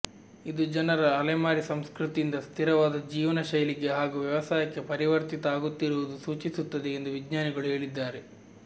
ಇದು ಜನರು ಅಲೆಮಾರಿ ಸಂಸ್ಕೃತಿಯಿಂದ ಸ್ಥಿರವಾದ ಜೀವನ ಶೈಲಿಗೆ ಹಾಗೂ ವ್ಯವಸಾಯಕ್ಕೆ ಪರಿವರ್ತಿತ ಆಗುತ್ತಿರುವುದು ಸೂಚಿಸುತ್ತಿದೆ ಎಂದು ವಿಜ್ಞಾನಿಗಳು ಹೇಳಿದ್ದಾರೆ